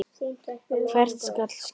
Hvert skal skjóta?